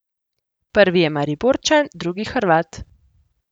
Prvi je Mariborčan, drugi Hrvat.